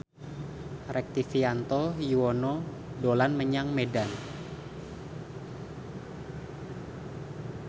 Rektivianto Yoewono dolan menyang Medan